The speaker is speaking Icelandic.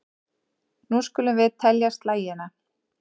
Nú skulum við telja slagina.